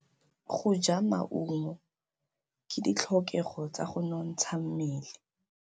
Go ja maungo ke ditlhokegô tsa go nontsha mmele.